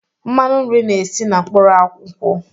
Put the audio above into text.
Mmanụ nri na-esi na mkpụrụ nkwụ.